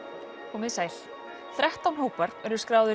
komiði sæl þrettán hópar eru skráðir